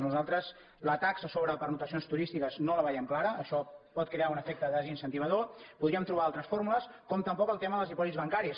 nosaltres la taxa sobre pernoctacions turístiques no la veiem clara això pot crear un efecte desincentivadors podríem trobar altres fórmules com tampoc el tema dels dipòsits bancaris